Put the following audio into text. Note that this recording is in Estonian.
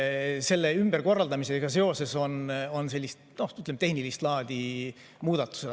Selle ümberkorraldamisega seoses on tehnilist laadi muudatused.